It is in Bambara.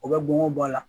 O bɛ bɔn o b'a la